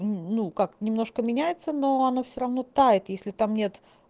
ну как немножко меняется но оно все равно тает если там нет